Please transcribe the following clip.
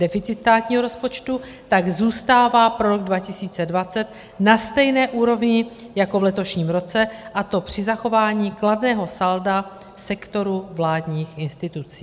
Deficit státního rozpočtu tak zůstává pro rok 2020 na stejné úrovni jako v letošním roce, a to při zachování kladného salda sektoru vládních institucí.